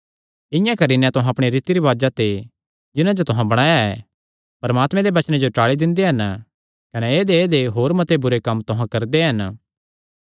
इआं करी नैं तुहां अपणे रीति रिवाजां ते जिन्हां जो तुहां बणाया ऐ परमात्मे दे वचने जो टाल़ी दिंदे हन कने ऐदेयऐदेय होर मत्ते बुरे कम्म तुहां करदे हन